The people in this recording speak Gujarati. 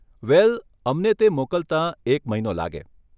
વેલ, અમને તે મોકલતા એક મહિનો લાગે.